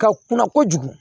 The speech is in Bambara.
Ka kunna kojugu